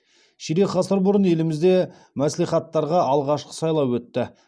ширек ғасыр бұрын елімізде мәслихаттарға алғашқы сайлау өтті